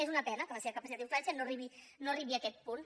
és una pena que la seva capacitat d’influència no arribi a aquest punt